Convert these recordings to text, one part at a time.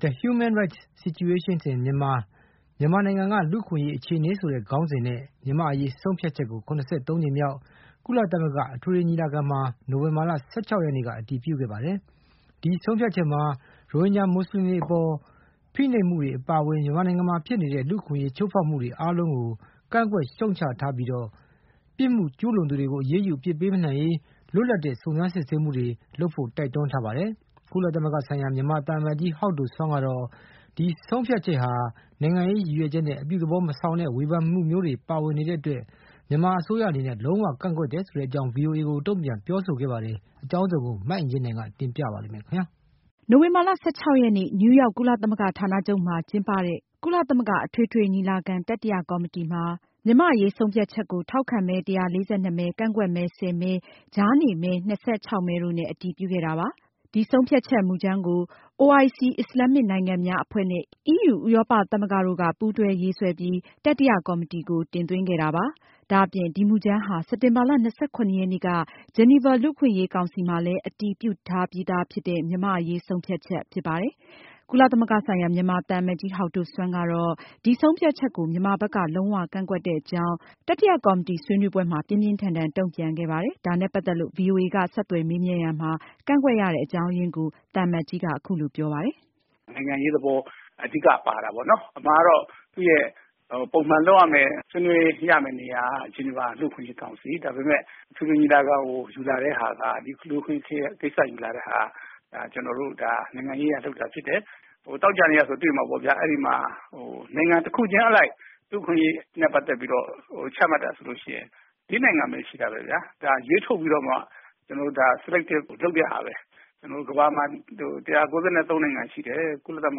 “The Human Rights Situation in Myanmar” မြန်မာနိုင်ငံက လူ့အခွင့်အရေးအခြေအနေ ဆိုတဲ့ခေါင်းစဉ်နဲ့ မြန်မာ့အရေးဆုံးဖြတ်ချက်ကို ၇၃ ကြိမ်မြောက် ကုလသမဂ္ဂအထွေထွေညီလာခံရဲ့ တတိယကော်မတီမှာ နိုဝင်ဘာလ ၁၆ ရက်နေ့က အတည်ပြုခဲ့ပါတယ်။ ဒီဆုံးဖြတ်ချက်မှာ- ရိုဟင်ဂျာ မွတ်စလင်တွေအပေါ် ဖိနှိပ်မှုတွေအပါအဝင် မြန်မာနိုင်ငံမှာ ဖြစ်နေတဲ့ လူ့အခွင့်အရေး ချိုးဖောက်မှုအားလုံးကို ကန့်ကွက်ရှုတ်ချထားပြီး၊ ပြစ်မှုကျူးလွန်သူတွေကို အရေးယူအပြစ်ပေးနိုင်ရေး လွတ်လပ်တဲ့ စုံစမ်းစစ်ဆေးမှုတွေ လုပ်ဖို့ ကုလအထွေထွေညီလာခံကြီးက တိုက်တွန်းထားပါတယ်။ ကုလသမဂ္ဂဆိုင်ရာ မြန်မာသံအမတ်ကြီး ဟောက်ဒိုဆွမ်းကတော့ ဒီဆုံးဖြတ်ချက်ဟာ နိုင်ငံရေးရည်ရွက်ချက်နဲ့ လုပ်ဆောင်တာဖြစ်ပြီး အပြုသဘောမဆောင်ပဲ ယုံကြည်မှုပျက်ပြားစေတဲ့အတွက် မြန်မာအစိုးရက ပြင်းပြင်းထန်ထန်ကန့်ကွက်ကြောင်း ဗွီအိုအေကို တုန့်ပြန်ပြောဆိုခဲ့ပါတယ်။မအင်ကြင်းနိုင်က အပြည့်အစုံကိုတင်ပြမှာပါ။ နိုဝင်ဘာလ ရက်နေ့ နယူးရောက် ကုလသမဂ္ဂဌာနချုပ်မှာ ကျင်းပတဲ့ ကုလသမဂ္ဂ အထွေထွေညီလာခံ တတိယကော်မတီမှာ မြန်မာ့အရေးဆုံးဖြတ်ချက်ကို ထောက်ခံမဲ ၁၄၂ မဲ၊ ကန့်ကွက်မဲ ၁၀ မဲ၊ ကြားနေမဲ ၂၆ မဲတို့နဲ့ အတည်ပြုခဲ့တာပါ။ ဆုံးဖြတ်ချက်မူကြမ်းကို OIC အစ္စလာမ်မစ်နိုင်ငံ များအဖွဲ့နဲ့ EU ဥရောပသမဂ္ဂတို့က ပူးတွဲရေးဆွဲပြီး တတိယကော်မတီကို တင်သွင်းခဲ့တာပါ။ ဒါအပြင် ဒီမူကြမ်းဟာ စက်တင်ဘာလ ၂၇ ရက်နေ့က ဂျီနီဗာ လူ့အခွင့်အရေးကောင်စီမှာလည်း အတည်ပြုထားပြီးသာဖြစ်တဲ့ မြန်မာ့အရေးဆုံးဖြတ်ချက် ဖြစ်ပါတယ်။ ကုလသမဂ္ဂဆိုင်ရာ မြန်မာသံအမတ်ကြီး ဟောက်ဒိုဆွမ်းကတော့ ဒီဆုံးဖြတ်ချက်ကို မြန်မာဘက်က လုံးဝကန့်ကွက်တဲ့အကြောင်း တတိယကော်မတီဆွေးနွေးပွဲမှာ ပြင်းပြင်းထန်ထန်တုန့်ပြန်ခဲ့ပါတယ်။ ဒါနဲ့ ပတ်သက်လို့ ဗွီအိုအေက ဆက်သွယ်မေးမြန်းရာမှာ ကန့်ကွက်ရတဲ့ အကြောင်းအရင်းကို သံအမတ်ကြီးက အခုလိုပြောပြပါတယ်။ "နိုင်ငံရေးသဘောအဓိက ပါတာပေါ့နော်။ အမှန်ကတော့ သူ့ရဲ့ ပုံမှန်လုပ်ရမယ့် ဆွေးနွေးရမယ့်နေရာက လူ့အခွင့်အရေးကောင်စီ ဒါပေမယ့် အထွေထွေညီလာခံကို ဒီလူ့အခွင့်အရေးကိစ္စ ယူလာတာက နိုင်ငံရေးအရ လုပ်တာဖြစ်တယ်။ သောကြာနေ့ကဆိုရင်တွေ့မှာပေါ့ဗျာ ၊ အဲဒီမှာ နိုင်ငံတခုချင်းအလိုက် လူ့အခွင့်အရေးနဲ့ ပတ်သက်ပြီးတော့ ချမှတ်တာဆိုရင် ၄ နိုင်ငံပဲရှိတာခင်ဗျ ။ ဒါကို ရွေးထုတ်ပြီးမှ Select လုပ်တာပဲ ကမ္ဘာမှာ ၁၉၃ နိုင်ငံရှိတယ်တဲ့ ကုလသမ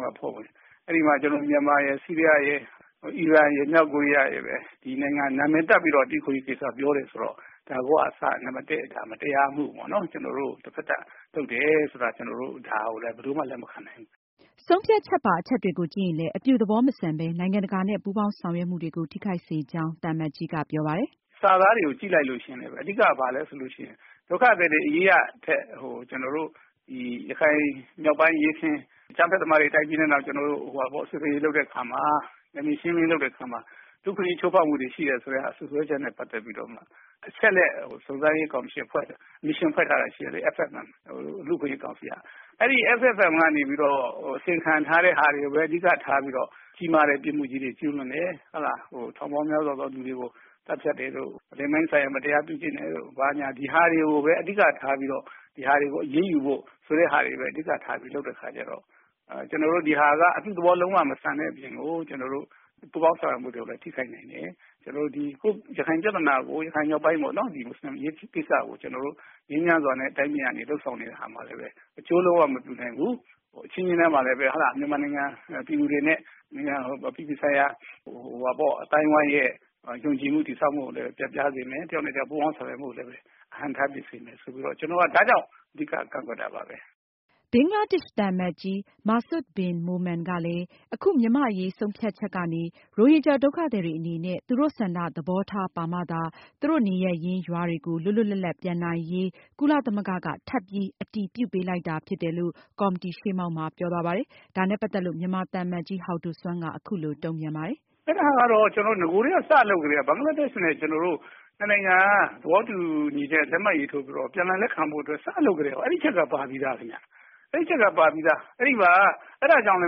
ဂ္ဂအဖွဲ့ဝင်တွေ။ အဲဒီမှာ မြန်မာ၊ ဆီးရီးယား၊ အီရန်ရယ် ၊ မြောက်ကိုးရီးယားရယ်ပဲ နာမည်တပ်ပြီးတော့ လူ့အခွင့်အရေးကိစ္စပြောတယ်ဆိုတော့ ဒါကိုက အစ နာမည်တပ်တဲ့အခါ မတရားမူပေါ့နော်။ ကျနော်တို့ကို လုပ်တယ်ဆိုတာ လုံးဝလက်မခံနိုင်ဘူး။" ဆုံးဖြတ်ချက်ပါ အချက်တွေကိုကြည့်ရင်လည်း အပြုသဘောမဆန်ပဲ နိုင်ငံတကာနဲ့ ပူးပေါင်းဆောင်ရွက်မှုတွေကို ထိခိုက်စေကြောင်း သံအမတ်ကြီးက ပြောပါတယ်။ "စာသားတွေကို ကြည့်လိုက်ရင်လည်း အဓိက ဘာလဲဆိုရင် ဒုက္ခသည်တွေအရေးထက် အဓိက ကျနော်တို့ ရခိုင်မြောက်ပိုင်း အကြမ်းဖက်သမားတွေ တိုက်ခိုက်ပြီး စစ်ဆင်ရေးလုပ်တဲ့အခါမှာ နယ်မြေရှင်းလင်းရေးလုပ်တဲ့အခါမှာ လူ့အခွင့်အရေးချိုးဖောက်မှုရှိတယ်ဆိုတဲ့ စွပ်စွဲချက်နဲ့ ပတ်သက်ပြီးတော့ အချက်အလက် စုံစမ်းရေးကော်မရှင်အဖွဲ့ Mission ဖွဲထားတာရှိတယ်လေ FFM လူ့အခွင့်အရေးကောင်စီက ။ အဲဒီ FFM ကနေပြီးတော့ အစီအရင်ခံထားတဲ့ဟာတွေကိုပဲ အဓိကထားပြီးတော့ ကြီးမားတဲ့ ပြစ်မှုကြီးတွေ ကျူးလွန်တယ် ၊ ထောင်ပေါင်းများစွာသောလူတွေကို သတ်ဖြတ်တယ်တို့ ၊ လိင်ပိုင်းဆိုင်ရာ မတရားပြုကျင့်တယ်တို့ ဒါတွေကိုအဓိကထားပြီးတော့ အရေးယူဖို့ဆိုတာတွေကို အဓိကထားလုပ်တဲ့အခါကျတော့ ကျနော်တို့ ဒါက အပြုသဘောလုံးဝမဆန်တဲ့အပြင်ကို ပူးပေါင်းဆောင်ရွက်မှုတွေကိုလည်းထိခိုက်နိုင်တယ် ။ ရခိုင်မြောက်ပိုင်း မွတ်ဆလင်အရေးကိစ္စကို ငြိမ်းချမ်းစွာနဲ့ တိုင်းပြည်လုပ်ဆောင်တဲ့အခါမှာလည်း အကျိုးလုံးဝမပြုနိုင်ဘူး။ အချင်းချင်းမှာလည်း မြန်မာနိုင်ငံပြည်သူတွေနဲ့ အပြည်ပြည်ဆိုင်ရာအသိုင်းအဝိုင်းရဲ့ ယုံကြည်မှု တည်ဆောက်မှုကိုလည်း ပျက်ပြားစေမယ်။ တယောက်နဲ့တယောက်ပူးပေါင်းဆောင်ရွက်မူကိုလည်း အဟန့်အတားဖြစ်စေမယ်။ ဒါကြောင့်အဓိက ကန့်ကွက်တာပါပဲ။" ဘင်္ဂလားဒေ့ရှ်သံအမတ်ကြီး Masud Bin Momen ကလည်း အခု မြန်မာ့အရေးဆုံးဖြတ်ချက်ကနေ ရိုဟင်ဂျာ ဒုက္ခသည်တွေအနေနဲ့ သူတို့ဆန္ဒသဘောထား ပါမှသာ သူတို့ နေရပ်ရင်း ရွာတွေကို လွတ်လွတ်လပ်လပ်ပြန်နိုင်ရေးကို ကုလသမဂ္ဂက ထပ်ပြီး အတည်ပြုပေးလိုက်တာဖြစ်တယ်လို့ ကော်မတီရှေ့မှောက်မှာ ပြောသွားပါတယ်။ ဒါနဲ့ ပတ်သက်လို့ မြန်မာသံအမတ်ကြီး ဟောက်ဒိုဆွမ်းက အခုလိုတုန့်ပြန်ပါတယ်။ "အဲဒါကတော့ နဂိုကတည်းကစပြီးလုပ်ကတည်းက ဘင်္ဂလားဒေ့ရှ် နှစ်နိုင်ငံသဘောတူညီချက်နဲ့ လက်မှတ်ရေးထိုးပြီးတော့ ပြန်လည်လက်ခံဖို့အတွက် စပြီး လုပ်ကတည်းက အဲဒီအချက်က ပါပြီးသားလေ ။ အဲဒါကြောင့်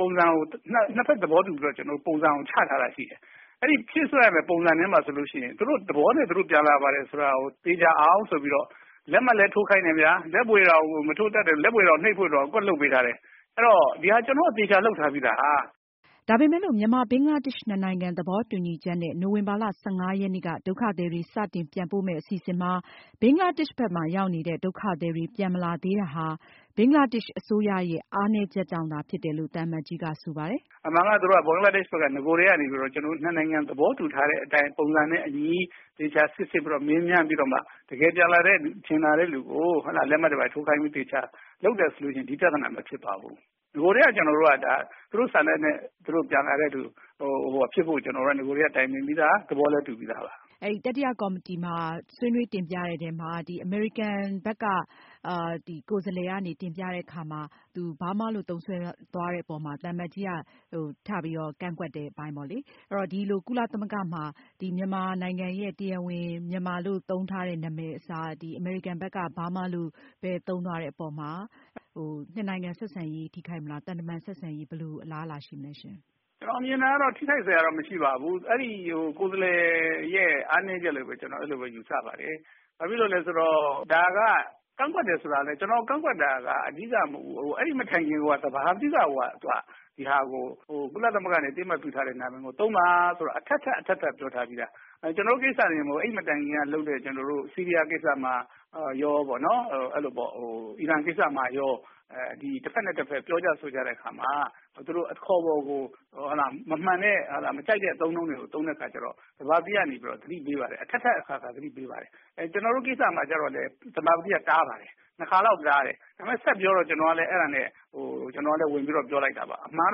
ပုံစံကို ၂ ဖက်သဘောတူပုံစံကိုချထားတာရှိတယ်။ အဲဒီ ဖြည့်စွက်ရမယ့် ပုံစံထဲမှာဆိုရင် သူတို့သဘောနဲ့ သူတို့ပြန်လာမယ်ဆိုတာကို သေချာအောင်ဆိုပြီး လက်မှတ်လည်းထိုးခိုင်းတယ်ခင်ဗျ။ လက်ဘွေယာကို နှိပ်ဖို့ အကွက်လုပ်ထားတယ်။ အဲဒါ ကျနော်တို့အသေချာလုပ်ထားပြီးသား" ဒါပေမယ်လို့ မြန်မာ-ဘင်္ဂလားဒေ့ရှ် နှစ်နိုင်ငံသဘောတူညီချက်နဲ့ နိုဝင်ဘာလ ရက်နေ့က ဒုက္ခသည်တွေ စတင်ပြန်ပို့မယ့် အစီအစဉ်မှာ ဘင်္ဂလားဒေ့ရှ်ဘက်မှာ ရောက်နေတဲ့ ဒုက္ခသည်တွေ ပြန်မလာသေးတာဟာ ဘင်္ဂလားဒေ့ရှ်အစိုးရရဲ့ အားနည်းချက်တွေကြောင့်ဖြစ်တယ်လို့ သံအမတ်ကြီးက ဆိုပါတယ်။ "အမှန်ကတော့ သူတို့ ဘင်္ဂလားဒေ့ရှ်ဘက်က နဂိုကတည်းကနေ နှစ်နိုင်ငံသဘောတူထားတဲ့အတိုင်း ပုံစံနဲ့ အညီ သေချာစိစစ်ပြီးတော့ မေးမြန်းပြီးတော့ တကယ်ပြန်လာတဲ့လူကို လက်မှတ်တွေဘာတွေထိုးခိုင်းပြီး သေချာလုပ်တယ်ဆိုရင် ဒီပြဿနာ မဖြစ်ပါဘူး။ နဂိုကတည်းက သူတို့ ဆန္ဒနဲ့ ပြန်လာတဲ့လူတွေဖြစ်ဖို့ နဂိုကတည်းက တိုင်ပင်ပြီးသား ၊ သဘောလည်းတူပြီးသားပါ။ မေး။ ။ သံအမတ်ကြီးတို့ တတိယကော်မတီမှာ ဆွေးနွေးတင်ပြကြတော့ အမေရိကန်ဘက်က ကိုယ်စားလှယ်က ပြောတဲ့အခါမှာ Burma ဆိုတဲ့ အခေါ်အဝေါ်ကိုပဲ သုံးနေတာကို သံအမတ်ကြီးဘက်က ပြန်ပြီး ပြင်းပြင်းထန်ထန်ကန့်ကွက် ပြောဆိုတာတွေ့ရပါတယ်။ အမေရိကန်ကိုယ်စားလှယ်ကလည်း သူ့အစိုးရရဲ့ ပေါ်လစီဖြစ်တယ်လို့ပြောပြီး Burma ဆိုတာကိုပဲ ဆက်ပြီး သုံးသွားပါတယ်။ ဒီအပေါ်မှာ နှစ်နိုင်ငံ သံတမန်ဆက်ဆံရေး ထိခိုက်စေမယ့်အလားအလာမျိုးရှိပါသလားရှင့်။ ဖြေ။ ။ ကျနော်ထင်တာကတော့ ထိခိုက်စရာတော့ မရှိပါဘူး။ ကိုယ်စားလှယ်ရဲ့ အားနည်းချက်လို့ပဲ ကျနော် ယူဆပါတယ်။ ကန့်ကွက်တယ်ဆိုတာကလည်း ကျနော် ကန့်ကွက်တာ ကအဓိကမဟုတ်ဘူး။ အဲဒီမတိုင်ခင် သဘာပတိကကိုက ဒီဟာကို ကုလသမဂ္ဂနေ အသိအမှတ်ပြုထားတဲ့ နာမည်ကိုသုံးပါလို့ အထပ်ထပ်ပြောထားပြီးသာ။ UN ကိစ္စတင်မဟုတ်ဘူး အဲဒီမတိုင်ခင်ကတည်းကလုပ်တဲ့ ကျနော်တို့ လုပ်တဲ့ကိစ္စမှာ အီရန်ကိစ္စမှာရော ၊ တဖက်နဲ့ တဖက် ပြောကြဆိုကြတဲ့အခါမှာ သူတို့အခေါ်အဝေါ်ကို မကြိုက်တဲ့ အသုံးအနှုန်းတွေကို သုံးတဲ့အခါမှာ သဘာပတိကနေပြီးတော့ သတိပေးပါတယ်။ ကျနော်တို့ကိစ္စမှာလည်း သဘာပတိကတားပါတယ် ၂ ခါလောက်တားတယ်။ ဒါပေမယ့်ဆက်ပြောတော့ ကျနော်ကလည်း ဝင်ပြောလိုက်တာပါ။ အမှန်က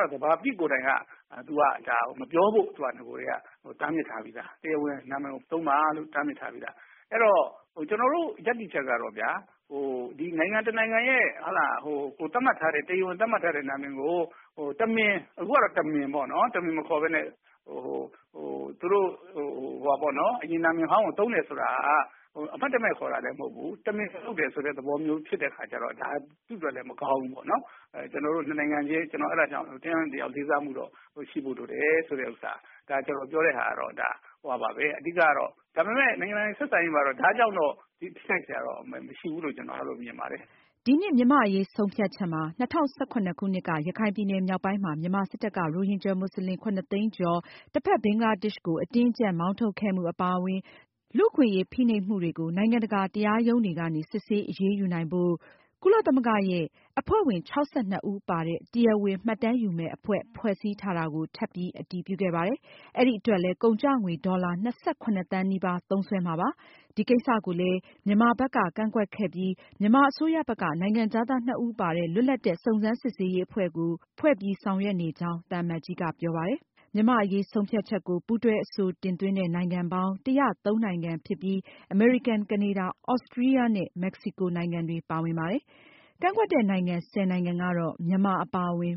တော့ သဘာပတိကိုယ်တိုင်က နဂိုကတည်းကမပြောဖို့ တားမြစ်ထားပြီးသား။ အဲဒီတော့ ကျနော်တို့ရပ်တည်ချက်ကတော့ နိုင်ငံတနိုင်ငံရဲ့ တရားဝင်သတ်မှတ်ထားတဲ့ နာမည်ကို တမင်မခေါ်ပဲနဲ့ အရင်နာမည်ဟောင်းကို သုံးတယ်ဆိုတာက အမှတ်တမဲ့ခေါ်တာလည်း မဟုတ်ဘူး ၊ တမင်လုပ်တယ်ဆိုတာ ဖြစ်တဲ့အခါကျတော့ ဒါသူ့အတွက်လည်းမကောင်းဘူး။ ကျနော်တို့ ၂ နိုင်ငံချင်း တယောက်နဲ့ တယောက်လေးစားမှုရှိဖို့လိုတယ်ဆိုတာကို ကျနော်ပြောပါတယ်။ ဒါပေမယ့် ၂ နိုင်ငံ ဆက်ဆံရေးမှာတော့ ဒါကြောင့်ထိခိုက်စရာမရှိဘူးလို့မြင်ပါတယ်။" ဒီနှစ်မြန်မာ့အရေးဆုံးဖြတ်ချက်မှာ- ၂၀၁၇ခုနှစ်က ရခိုင်ပြည်နယ်မြောက်ပိုင်းမှာ မြန်မာစစ်တပ်က ရိုဟင်ဂျာမွတ်စလင် ၇၀၀,၀၀၀ သိန်းကျော် တဖက်ဘင်္ဂလားဒေ့ရှ်ကို အတင်းအကျပ်မောင်းထုတ်ခဲ့မှုအပါအဝင် လူ့အခွင့်အရေး ဖိနှိပ်မှုတွေကို နိုင်ငံတကာတရားရုံးတွေကနေ စစ်ဆေးအရေးယူနိုင်ဖို့ ကုလသမဂ္ဂရဲ့ “ongoing independent mechanism” လို့ခေါ်တဲ့ အဖွဲ့ဝင် ၆၂ ဦးပါတဲ့ တရားဝင်မှတ်တမ်းယူမယ့် အဖွဲ့ ဖွဲ့စည်းထားတာကို ထပ်ပြီး အတည်ပြုခဲ့ပါတယ်။အဲဒီအတွက်လည်း ကုန်ကျငွေ ဒေါ်လာ သန်းနီးပါး သုံးစွဲမှာဖြစ်ပါတယ်။ ဒီကိစ္စကိုလည်း မြန်မာဘက်က ကန့်ကွက်ခဲ့ပြီး မြန်မာအစိုးရဘက်က နိုင်ငံခြားသားနှစ်ဦးပါတဲ့ လွတ်လပ်တဲ့ စုံစမ်းစစ်ဆေးရေး အဖွဲ့ကို ဖွဲ့ပြီး ဆောင်ရွက်နေကြောင်း သံအမတ်ကြီးက ပြောပါတယ်။ မြန်မာ့အရေးဆုံးဖြတ်ချက်ကို ပူးတွဲအဆိုတင်သွင်းတဲ့နိုင်ငံပေါင်း ၁၀၃ နိုင်ငံဖြစ်ပြီး အမေရိကန်၊ ကနေဒါ၊ သြစတြီးယားနဲ့ မက်က္ကစီကို နိုင်ငံတွေ ပါဝင်ပါတယ်။ ကန့်ကွက်ခဲ့တဲ့နိုင်ငံ ၁၀ နိုင်ငံကတေ့ မြန်မာအပါအဝင်